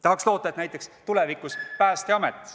Tahaks loota, et näiteks tulevikus Päästeamet ...